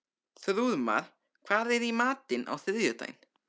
Þrúðmar, hvað er í matinn á þriðjudaginn?